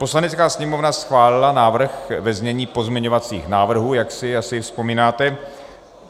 Poslanecká sněmovna schválila návrh ve znění pozměňovacích návrhů, jak si asi vzpomínáte.